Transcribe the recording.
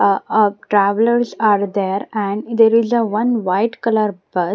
Ah uh Travelers are there and there is a one white color bu--